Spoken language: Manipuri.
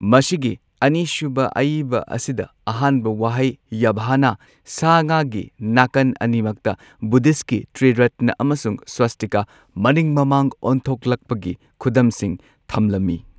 ꯃꯁꯤꯒꯤ ꯑꯅꯤꯁꯨꯕ ꯑꯏꯕ ꯑꯁꯤꯗ ꯑꯍꯥꯟꯕ ꯋꯥꯍꯩ ꯌꯥꯚꯥꯅ ꯁꯥ ꯉꯥꯒꯤ ꯅꯥꯀꯟ ꯑꯅꯤꯃꯛꯇ ꯕꯨꯙꯤꯁ꯭ꯠꯀꯤ ꯇ꯭ꯔꯤꯔꯠꯅ ꯑꯃꯁꯨꯡ ꯁ꯭ꯋꯁꯇꯤꯀꯥ ꯃꯅꯤꯡ ꯃꯃꯥꯡ ꯑꯣꯟꯊꯣꯛꯂꯛꯄꯒꯤ ꯈꯨꯗꯝꯁꯤꯡ ꯊꯝꯂꯝꯃꯤ꯫